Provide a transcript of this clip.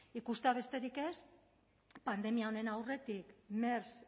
ikustea besterik ez pandemia honen aurretik eta mers